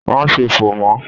Máa ṣe fò mọ́!